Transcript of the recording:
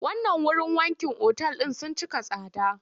Wannan wurin wankin otal ɗin sun cika tsada.